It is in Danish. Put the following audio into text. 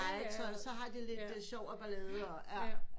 Så har de lidt sjov og ballade